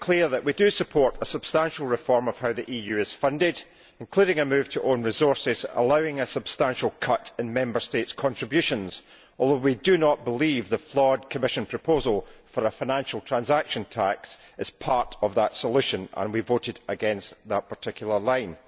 to make it clear that we do support a substantial reform to how the EU is funded, including a move to own resources, allowing a substantial cut in Member States' contributions although we do not believe the flawed Commission proposal for a financial transaction tax is part of that solution and we voted against that particular line.